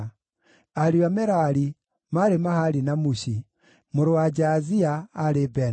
Ariũ a Merari: maarĩ Mahali na Mushi. Mũrũ wa Jaazia: aarĩ Beno.